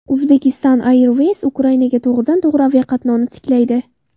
Uzbekistan Airways Ukrainaga to‘g‘ridan-to‘g‘ri aviaqatnovni tiklaydi.